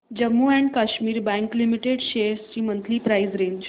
Jammu and Kashmir bank limited shares ची monthly price range